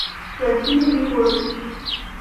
владимир егорович